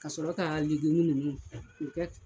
Ka sɔrɔ ka legimu ninnu o kɛ